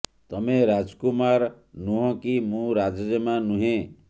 ତମେ ରାଜକୁମାର ନୁହଁ କି ମୁଁ ରାଜ ଜେମା ନୁହେଁ